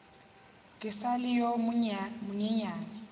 ke sa le yo monyenyane